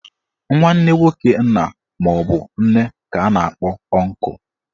Nwanne nwoke nna maọbụ nne ka a na-akpọ ọnkụ.